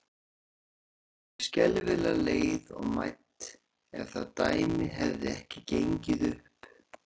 Ég yrði alveg skelfilega leið og mædd, ef það dæmi hefði ekki gengið upp.